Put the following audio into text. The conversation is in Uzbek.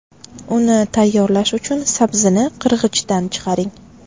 Uni tayyorlash uchun sabzini qirg‘ichdan chiqaring.